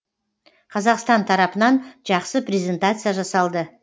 қазақстан тарапынан жақсы презентация жасалды